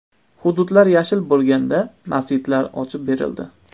Hududlar yashil bo‘lganda masjidlar ochib berildi.